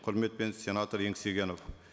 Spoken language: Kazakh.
құрметпен сенатор еңсегенов